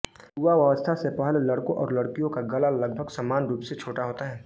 युवावस्था से पहले लड़कों और लड़कियों का गला लगभग समान रूप से छोटा होता है